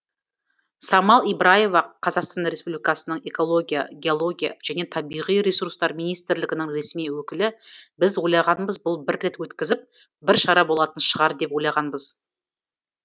самал ибраева қазақстан республикасының экология геология және табиғи ресурстар министрлігінің ресми өкілі біз ойлағанбыз бұл бір рет өткізіп бір шара болатын шығар деп ойлағанбыз